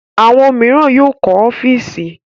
Àwọn mìíràn yóò kọ́ ọ́fíísì.